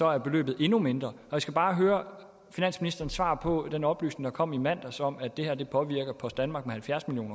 er beløbet endnu mindre jeg skal bare høre finansministerens svar på den oplysning der kom i mandags om at det her påvirker post danmark med halvfjerds million